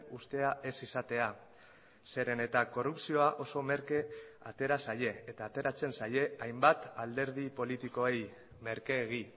uztea ez izatea zeren eta korrupzioa oso merke atera zaie eta ateratzen zaie hainbat alderdi politikoei merkeegi